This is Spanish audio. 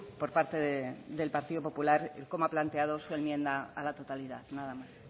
por parte del partido popular el cómo ha planteado su enmienda a la totalidad nada más